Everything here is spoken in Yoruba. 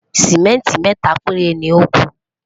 simẹnti méta péré loku